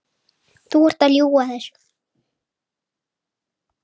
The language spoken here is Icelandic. Þú ert að ljúga þessu!